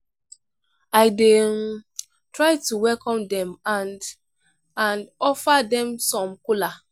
i dey um try to welcome dem and and offer dem some kola.